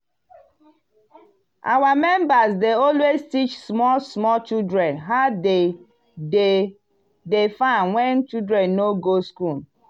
our members dey always teach small small children how dem dey dey farm when children no go school.